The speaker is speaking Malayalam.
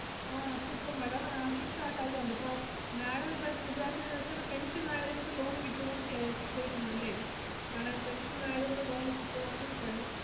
ആഹ് അതുപ്പോ madam അഹ് കിട്ടാൻ സാധ്യത ഉണ്ട്, ഇപ്പൊ madam ഇപ്പോ വിചാരിച്ചെതെന്നു വെച്ചാൽ ഇപ്പൊ pension ആയത് കൊണ്ട് loan കിട്ടുവോന്നു ചെ~ ചോദിക്കുന്നു അല്ലേ madam pension ആയത് കൊണ്ട് loan കിട്ടുവോന്ന് ഏർ